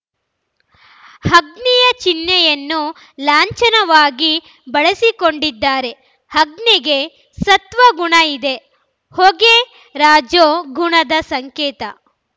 ಅಗ್ನಿಯ ಚಿಹ್ನೆಯನ್ನು ಲಾಂಛನವಾಗಿ ಬಳಸಿಕೊಂಡಿದ್ದಾರೆ ಅಗ್ನಿಗೆ ಸತ್ವ ಗುಣ ಇದೆ ಹೊಗೆ ರಜೋ ಗುಣದ ಸಂಕೇತ